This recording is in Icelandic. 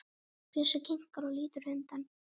Bjössi hikar og lítur undan.